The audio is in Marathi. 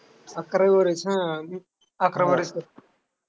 अकरावी बारावी. हा मी अकरावी बारावी